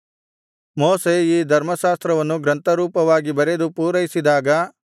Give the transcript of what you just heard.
ಮೋಶೆ ಈ ಧರ್ಮಶಾಸ್ತ್ರವನ್ನು ಗ್ರಂಥರೂಪವಾಗಿ ಬರೆದು ಪೂರೈಸಿದಾಗ